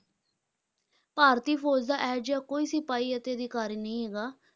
ਭਾਰਤੀ ਫ਼ੌਜ਼ ਦਾ ਇਹ ਜਿਹਾ ਕੋਈ ਸਿਪਾਹੀ ਅਤੇ ਅਧਿਕਾਰੀ ਨਹੀਂ ਹੈਗਾ